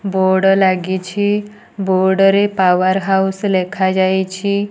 Board ଲାଗିଛି board ରେ power house ଲେଖାଯାଇଛି।